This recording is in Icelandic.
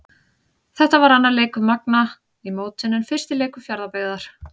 Þetta var annar leikur Magna í mótinu en fyrsti leikur Fjarðabyggðar.